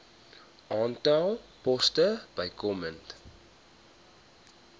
aantal poste bykomend